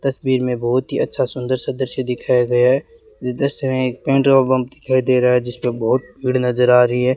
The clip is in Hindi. तस्वीर में बहुत ही अच्छा सुंदर सा दृश्य दिखाया गया है ये दृश्य में एक पेट्रोल पंप दिखाई दे रहा है जिस पे बहुत भीड़ नजर आ रही है।